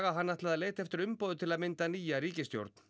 að hann ætlaði að leita eftir umboði til að mynda nýja ríkisstjórn